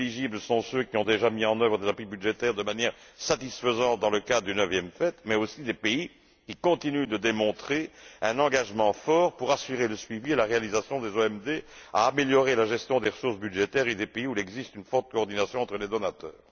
Les pays éligibles sont ceux qui ont déjà mis en œuvre des appuis budgétaires de manière satisfaisante dans le cadre du neuvième FED, mais aussi des pays qui continuent de démontrer un engagement fort pour assurer le suivi et la réalisation des OMD, à améliorer la gestion des ressources budgétaires des pays où il existe une propre coordination entre les donateurs.